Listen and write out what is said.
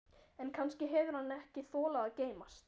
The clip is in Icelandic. En kannski hefur hann ekki þolað að geymast.